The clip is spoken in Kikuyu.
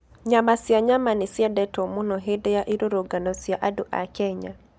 Nyama cia nyama nĩ ciendetwo mũno hĩndĩ ya irũrũngano cia andũ a Kenya.